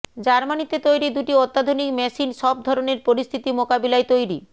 জার্মানীতে তৈরি দুটি অত্যাধুনিক মেশিন সব ধরণের পরিস্থিতি মোকাবিলায় তৈরি